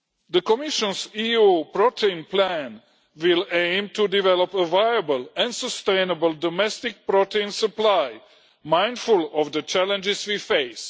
The Commission's EU protein plan will aim to develop a viable and sustainable domestic protein supply mindful of the challenges we face.